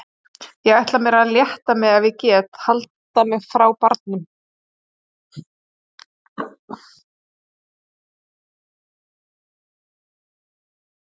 Ég ætla mér að létta mig ef ég get, halda mig frá barnum!